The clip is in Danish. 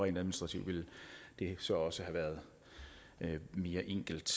administrativt ville det så også have været mere enkelt